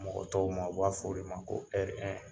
Mɔgɔ tɔw ma, u b'a f'o de ma ko R1.